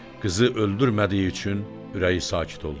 Qızı öldürmədiyi üçün ürəyi sakit oldu.